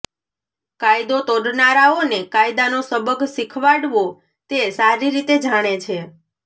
કાયદો તોડનારાઓને કાયદાનો સબક શીખવાડવો તે સારી રીતે જાણે છે